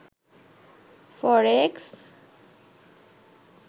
ফরেক্স